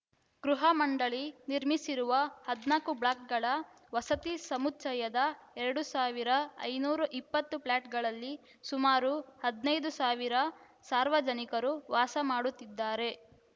ಗೃಹ ಮಂಡಳಿ ನಿರ್ಮಿಸಿರುವ ಹದನಾಲ್ಕು ಬ್ಲಾಕ್‌ಗಳ ವಸತಿ ಸಮುಚ್ಛಯದ ಎರಡು ಸಾವಿರ ಐನೂರ ಇಪ್ಪತ್ತು ಫ್ಲ್ಯಾಟ್‌ಗಳಲ್ಲಿ ಸುಮಾರು ಹದನೈದು ಸಾವಿರ ಸಾರ್ವಜನಿಕರು ವಾಸ ಮಾಡುತ್ತಿದ್ದಾರೆ